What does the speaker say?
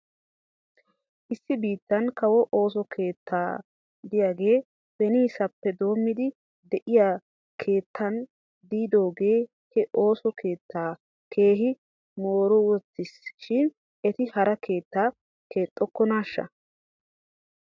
Issi biitan kawo ooso keetta diyaagee beniisappe doommidi de'iyaa keettan diidoogee he ooso keettaa keehi mooriwttis shin eti hara keettaa keexxokonaashsha?